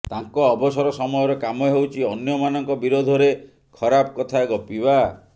ତାଙ୍କ ଅବସର ସମୟର କାମ ହେଉଛି ଅନ୍ୟମାନଙ୍କ ବିରୋଧରେ ଖରାପ କଥା ଗପିବା